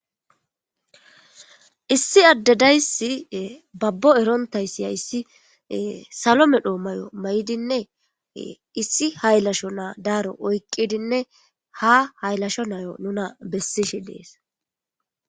Issi ade dayisi babo erontaysi haysi salo medho mayo mayidi issi haylasho na daaro oyqidi ha hayilasho nayo nuna besishe dees